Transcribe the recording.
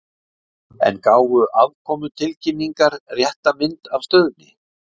En gáfu afkomutilkynningar rétta mynd af stöðunni?